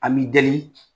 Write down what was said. An b'i dali